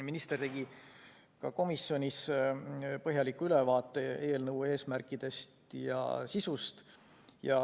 Minister tegi ka komisjonis põhjaliku ülevaate eelnõu eesmärkidest ja sisust.